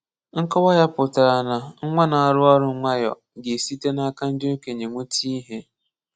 Nkọwa ya pụtara na nwa na-arụ ọrụ nwayọ ga-esite n'aka ndị okenye nweta ihe.